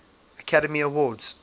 academy awards